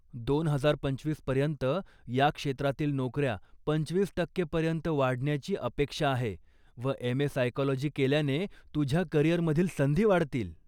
दोन हजार पंचवीस पर्यंत ह्या क्षेत्रातील नोकऱ्या पंचवीस टक्के पर्यंत वाढण्याची अपेक्षा आहे व एम.ए. सायकॉलजी केल्याने तुझ्या करियरमधील संधी वाढतील.